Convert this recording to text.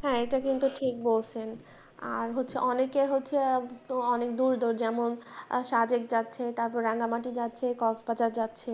হ্যাঁ এইটা কিন্তু ঠিক বলছেন আর হচ্ছে অনেকের হচ্ছে অনেক দূর দূর যেমন যাচ্ছে তারপর রাঙ্গা মাটি যাচ্ছে যাচ্ছে